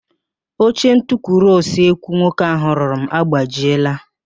Oche ntukwuru osekwu nwoke ahụ rụrụ m agbajiela